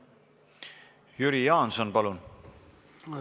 Jüri Jaanson, palun!